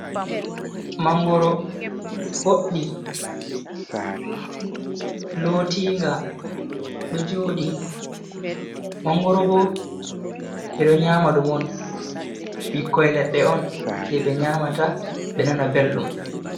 Mangoro, boɗɗi, lotinga, do joɗi, mangoro bo ɓeɗo nyama ɗum on, ɓikkoi leɗɗe on je ɓe nyamata ɓe nana belɗum.